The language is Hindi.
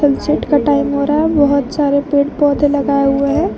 सेट का टाइम हो रहा है बहोत सारे पेड़ पौधे लगाए हुए हैं।